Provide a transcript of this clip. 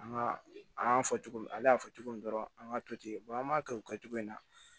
An ka an y'a fɔ cogo min ale y'a fɔ cogo min dɔrɔn an ka to ten an b'a kɛ o kɛcogo in na